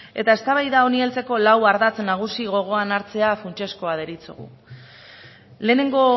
eta eztabaida honi heltzeko lau ardatz nagusi gogoan hartzea funtsezkoa deritzogu lehenengo